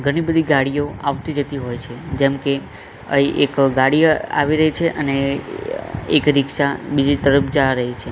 ઘણી બધી ગાડીઓ આવતી જતી હોય છે જેમકે અહીં એક ગાડી આવી રહી છે અને એક રિક્ષા બીજી તરફ જા રહી છે.